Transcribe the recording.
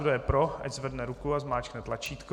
Kdo je pro, ať zvedne ruku a zmáčkne tlačítko.